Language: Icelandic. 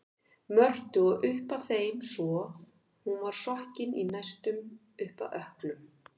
Mörtu og upp að þeim svo hún var sokkin næstum upp að ökklum.